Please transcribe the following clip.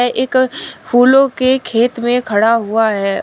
एक फूलों के खेत में खड़ा हुआ है।